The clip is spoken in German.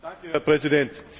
Herr Präsident!